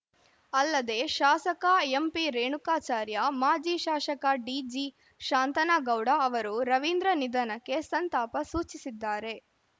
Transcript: ಅಲ್ಲದೆ ಶಾಸಕ ಎಂಪಿರೇಣುಕಾಚಾರ್ಯ ಮಾಜಿ ಶಾಸಕ ಡಿಜಿಶಾಂತನಗೌಡ ಅವರೂ ರವೀಂದ್ರ ನಿಧನಕ್ಕೆ ಸಂತಾಪ ಸೂಚಿಸಿದ್ದಾರೆ